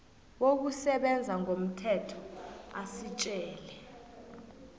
wokusebenza ngomthetho asitjela